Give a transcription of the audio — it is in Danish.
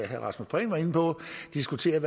herre rasmus prehn var inde på diskutere